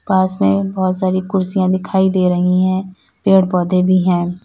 पास में बहोत सारी कुर्सियां दिखाई दे रही हैं पेड़ पौधे भी हैं।